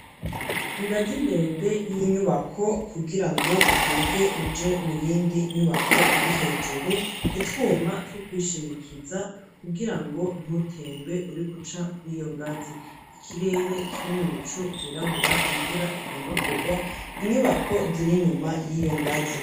Ingazi ndende y'inyubako kugira ngo uduge uje muyindi nyubako iri hejuru utuma two kwishimikiza kugira ngo ntutembe uri kuca kuri iyo ngazi. Ikirere kiri mu bicu vyirabura imvura igomba kugwa inyubako ziri nyuma y'iyo ngazi.